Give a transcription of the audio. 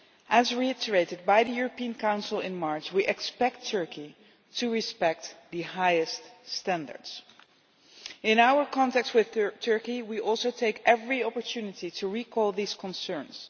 As reiterated by the European Council in March, we expect Turkey to respect the highest standards. In our contacts with Turkey we also take every opportunity to recall these concerns.